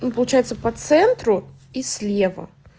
ну получается по центру и слева